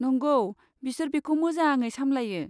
नंगौ, बिसोर बेखौ मोजाङै सामलायो।